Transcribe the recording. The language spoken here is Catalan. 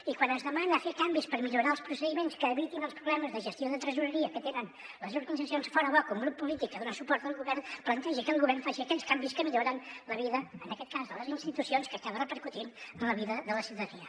i quan es demana fer canvis per millorar els procediments que evitin els problemes de gestió de tresoreria que tenen les organitzacions fora bo que un grup polític que dona suport al govern plantegi que el govern faci aquells canvis que milloren la vida en aquest cas de les institucions que acaba repercutint en la vida de la ciutadania